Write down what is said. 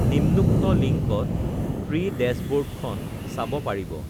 নিম্নোক্ত লিংকত এি ডেশ্ববৰ্ডখন চাব পাৰিব